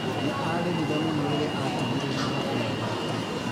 Nĩ arĩrire mũno rĩrĩa atigirwo nĩ mũthuri wake.